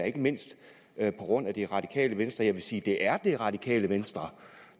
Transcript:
ikke mindst det radikale venstre jeg vil sige at det er det radikale venstre